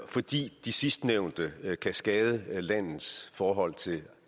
fordi de sidstnævnte kan skade landets forhold til